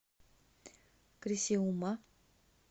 крисиума